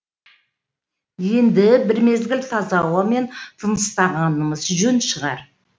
енді бір мезгіл таза ауамен тыныстағанымыз жөн шығар